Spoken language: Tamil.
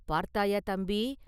“பார்த்தாயா, தம்பி!